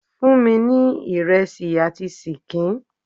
Fún mi ní ìrẹsì àti ṣíkìn!